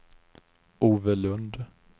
Ove Lundh